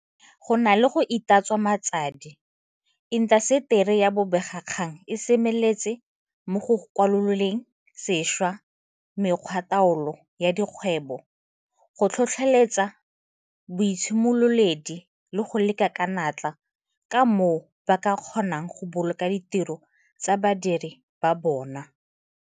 Go na le go itatswa matsadi, intaseteri ya bobegakgang e semeletse mo go kwaloleng sešwa mekgwataolo ya dikgwebo, go tlhotlheletsa boitshimololedi le go leka ka natla ka moo ba ka kgonang go boloka ditiro tsa badiredi ba bona.